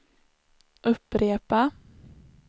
upprepa